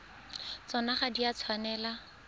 tsona ga di a tshwanela